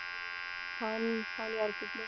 छान आहे छान यार खूप मस्त